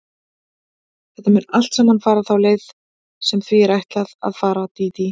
Þetta mun allt saman fara þá leið sem því er ætlað að fara, Dídí.